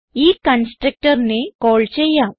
ഈ constructorനെ കാൾ ചെയ്യാം